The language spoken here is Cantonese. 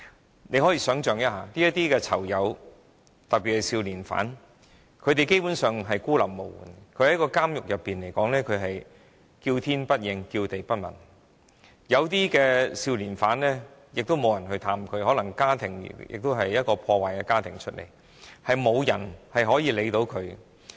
大家可以想象，這些囚友，特別是少年犯基本上孤立無援，他們在監獄內"叫天不應，叫地不聞"，有些少年犯也沒有人探望，可能因為他們來自破碎家庭，沒有人理會。